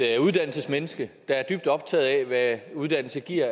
et uddannelsesmenneske der er dybt optaget af hvad uddannelse giver